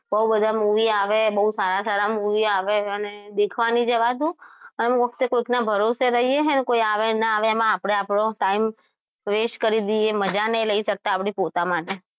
બહુ બધા movie આવ્યા બહુ સારા સારા movie આવ્યા અને દેખવા નઈ જવાતું અન કોકના ભરોસે રહીએ છીએ ને કોઈ આવે ન ના આવે એમાં આપણે આપણું time west કરી દઈએ મજા નહીં લઈ શકતા આપણે પોતા માટે